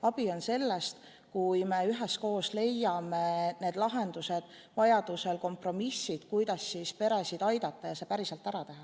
Abi on sellest, kui me üheskoos leiame need lahendused, vajaduse korral kompromissid, kuidas peresid aidata ja see päriselt ära teha.